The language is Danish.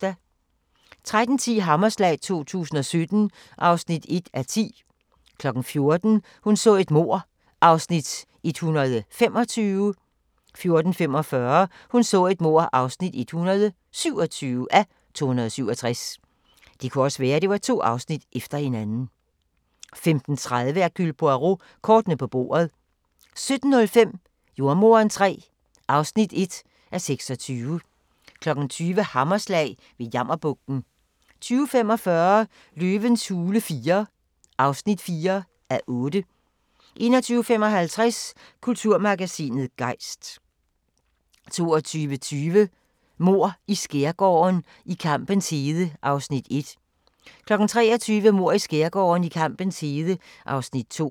13:10: Hammerslag 2017 (1:10) 14:00: Hun så et mord (125:267) 14:45: Hun så et mord (127:267) 15:30: Hercule Poirot: Kortene på bordet 17:05: Jordemoderen III (1:26) 20:00: Hammerslag – ved Jammerbugten 20:45: Løvens hule IV (4:8) 21:55: Kulturmagasinet Gejst 22:20: Mord i Skærgården: I kampens hede (Afs. 1) 23:00: Mord i Skærgården: I kampens hede (Afs. 2)